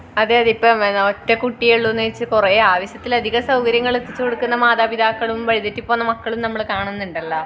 അതെയതെ ഇപ്പോം ഒറ്റ കുട്ടി ഒള്ളു എന്നുവെച്ച് കൊറേ ആവശ്യത്തിലധികം സൗകര്യങ്ങൾ എത്തിച്ചു കൊടുക്കുന്ന മതാപിതാക്കളും വഴി തെറ്റി പോകുന്ന മക്കളും നമ്മൾ കാണുന്നുണ്ടല്ലോ